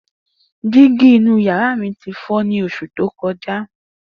Digi inu yara mi ti fọ ni oṣu to kọja.